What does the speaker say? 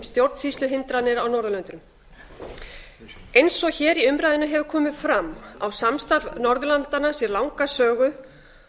stjórnsýsluhindranir á norðurlöndunum eins og hér í umræðunni hefur komið fram á samstarf norðurlandanna sér langa sögu